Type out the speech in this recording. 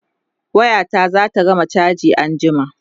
waya ta zata gama chaji anjima